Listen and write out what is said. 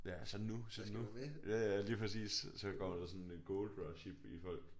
Ja så er det nu så er det nu ja ja lige præcis så går der sådan et gold rush i i folk